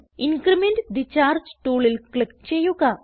increment the charge ടൂളിൽ ക്ലിക്ക് ചെയ്യുക